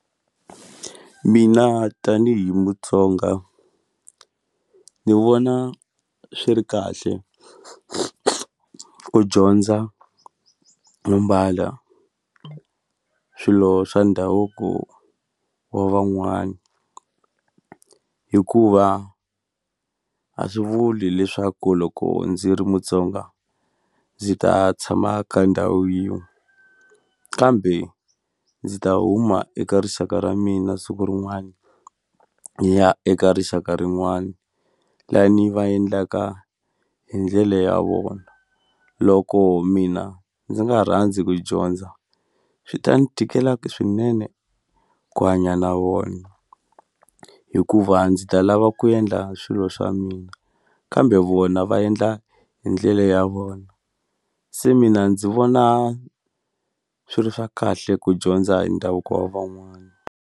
Mina tanihi Mutsonga ni vona swi ri kahle ku dyondza no mbala swilo swa ndhavuko wa van'wana hikuva a swi vuli leswaku loko ndzi ri Mutsonga ndzi ta tshama ka ndhawu yin'we kambe ndzi ta huma eka rixaka ra mina siku rin'wani ni ya eka rixaka rin'wani lani va endlaka hi ndlela ya vona loko mina ndzi nga rhandzi ku dyondza swi ta ni tikela swinene ku hanya na vona hikuva ndzi ta lava ku endla swilo swa mina kambe vona va endla hi ndlele ya vona se mina ndzi vona swi ri swa kahle ku dyondza hi ndhavuko wa van'wana.